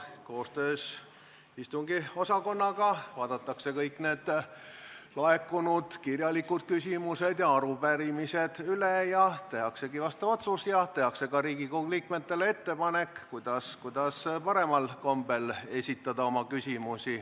Koos istungiosakonnaga vaadatakse kõik kirjalikult laekunud küsimused ja arupärimised üle, tehakse vastav otsus ning tehakse ka Riigikogu liikmetele ettepanek, kuidas oma küsimusi paremal kombel esitada.